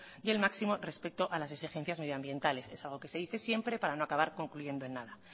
y el máximo respecto a las exigencias medioambientales es algo que se dice siempre para no acabar concluyendo en nada